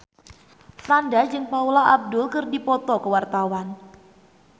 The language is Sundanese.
Franda jeung Paula Abdul keur dipoto ku wartawan